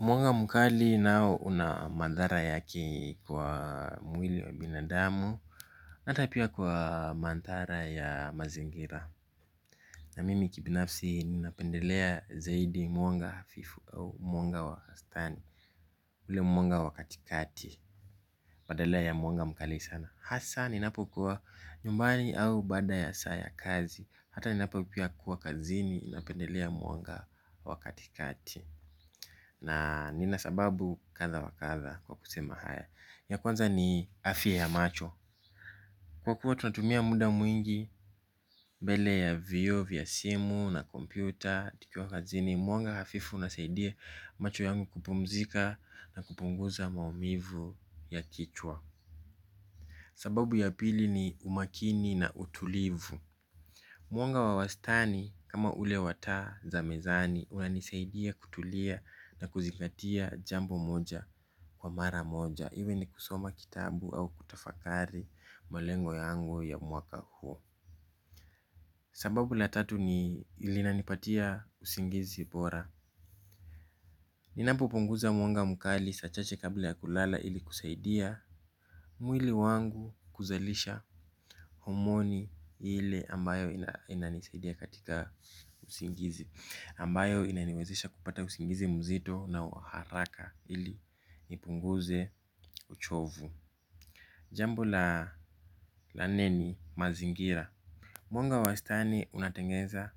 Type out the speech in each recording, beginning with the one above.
Muanga mkali nao una madhara yake kwa mwili wa binadamu hata pia kwa manthara ya mazingira. Na mimi kibinafsi ninapendelea zaidi mwanga hafifu au mwanga wastani. Ule mwanga wa kati kati badala ya mwanga mkali sana. Hasa ninapokuwa nyumbani au baada ya saa ya kazi hata ninapokuwa kwa kazini napendelea mwanga wa kati kati. Na nina sababu katha wa katha kwa kusema haya. Ya kwanza ni afiya ya macho. Kwa kuwa tunatumia muda mwingi bele ya vioo, vya simu na kompyuta tukiwa kazini mwanga hafifu una saidia macho yangu kupumzika. Na kupunguza maumivu ya kichwa. Sababu ya pili ni umakini na utulivu. Mwanga wa wastani kama ule wa taa za mezani unanisaidia kutulia na kuzingatia jambo moja kwa mara moja iwe ni kusoma kitabu au kutafakari malengo yangu ya mwaka huo. Sababu la tatu ni linanipatia usingizi bora ninapopoteza mwanga mkali saa chache kabla ya kulala ili kusaidia mwili wangu kuzalisha homoni ile ambayo inanisaidia katika usingizi ambayo inaniwezesha kupata usingizi mzito na wa haraka ili nipunguze uchovu. Jambo la nne ni mazingira. Mwanga wa wastani unatengeza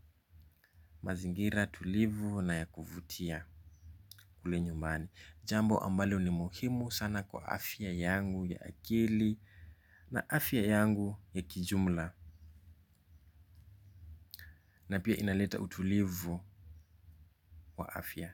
mazingira tulivu na ya kuvutia kule nyumbani. Jambo ambalo ni muhimu sana kwa afya yangu ya akili na afya yangu ya kijumla. Na pia inaleta utulivu wa afya.